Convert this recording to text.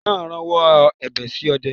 Ọ̀bọ náà rawọ́ ẹ̀bẹ̀ sí ọdẹ